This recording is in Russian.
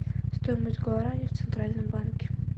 стоимость гуарани в центральном банке